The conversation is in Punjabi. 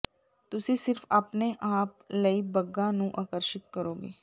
ਤੁਸੀਂ ਸਿਰਫ ਆਪਣੇ ਆਪ ਲਈ ਬੱਗਾਂ ਨੂੰ ਆਕਰਸ਼ਿਤ ਕਰੋਗੇ